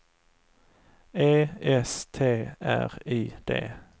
E S T R I D